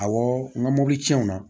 Awɔ n ka mobili cɛn na